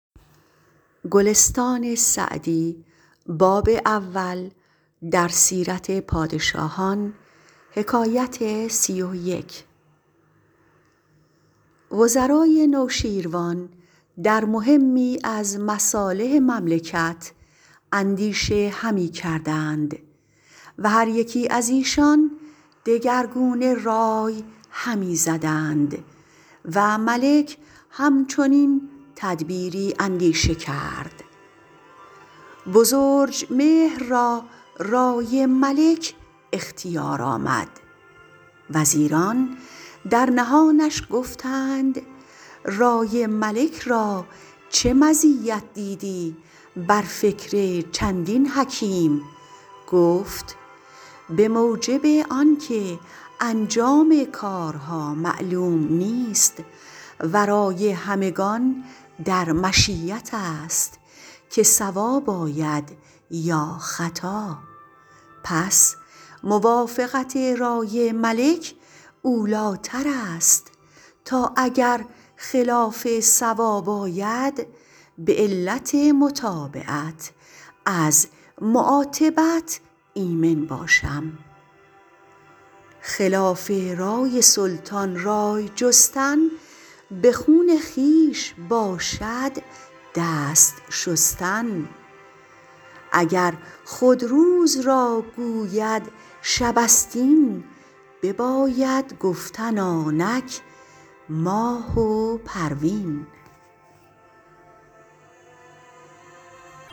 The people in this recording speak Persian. وزرای نوشیروان در مهمی از مصالح مملکت اندیشه همی کردند و هر یکی از ایشان دگرگونه رای همی زدند و ملک هم چنین تدبیری اندیشه کرد بزرجمهر را رای ملک اختیار آمد وزیران در نهانش گفتند رای ملک را چه مزیت دیدی بر فکر چندین حکیم گفت به موجب آن که انجام کارها معلوم نیست و رای همگان در مشیت است که صواب آید یا خطا پس موافقت رای ملک اولی ٰتر است تا اگر خلاف صواب آید به علت متابعت از معاتبت ایمن باشم خلاف رای سلطان رای جستن به خون خویش باشد دست شستن اگر خود روز را گوید شب است این بباید گفتن آنک ماه و پروین